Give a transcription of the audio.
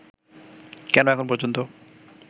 কেন এখন পর্যন্ত